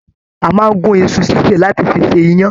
A máa n gún iṣu ṣiṣe láti fí ṣe iyán.